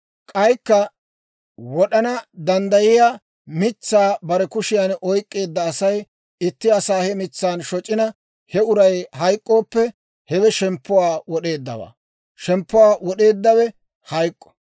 K'aykka wod'ana danddayiyaa mitsaa bare kushiyan oyk'k'eedda Asay itti asaa he mitsan shoc'ina, he uray hayk'k'ooppe, hewe shemppuwaa wod'eeddawaa; shemppuwaa wod'eeddawe hayk'k'o.